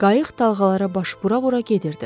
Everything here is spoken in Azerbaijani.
Qayıq dalğalara baş vura-vura gedirdi.